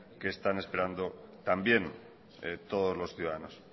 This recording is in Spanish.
que están esperando también todos los ciudadanos